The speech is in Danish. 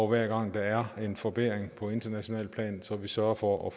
hver gang der er en forbedring på internationalt plan sørger for at